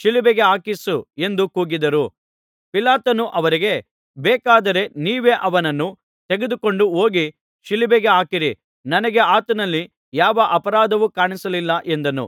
ಶಿಲುಬೆಗೆ ಹಾಕಿಸು ಎಂದು ಕೂಗಿದರು ಪಿಲಾತನು ಅವರಿಗೆ ಬೇಕಾದರೆ ನೀವೇ ಅವನನ್ನು ತೆಗೆದುಕೊಂಡು ಹೋಗಿ ಶಿಲುಬೆಗೆ ಹಾಕಿರಿ ನನಗೆ ಆತನಲ್ಲಿ ಯಾವ ಅಪರಾಧವೂ ಕಾಣಿಸಲಿಲ್ಲ ಎಂದನು